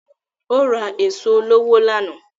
Ó ra èso olówó lánàá